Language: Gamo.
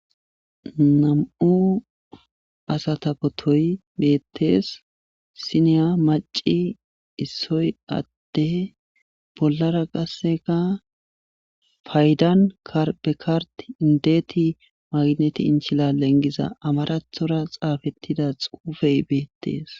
Nam7u asata potoy beettes issiniya macci issoy ade bollara qassika paydan kard be kard indet maggnet inchilalen giza amaratora xaafettida xuufey beettes.